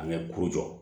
An bɛ kuru jɔ